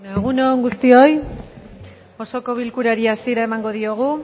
egun on guztioi osoko bilkurari hasiera emango diogu